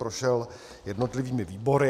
Prošel jednotlivými výbory.